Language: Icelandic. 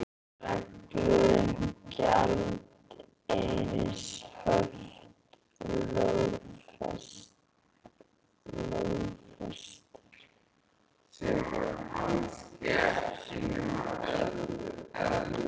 Reglur um gjaldeyrishöft lögfestar